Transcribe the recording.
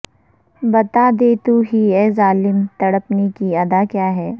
بتا دے تو ہی اے ظالم تڑپنے کی ادا کیا ہے